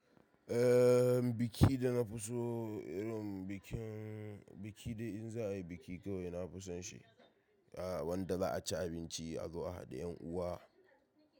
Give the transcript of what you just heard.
Eh, biki da na fi so irin bikin, biki dai in za ayi biki kawai nafi son shi. Wanda za aci abinci, a zo a haɗu da ƴan uwa.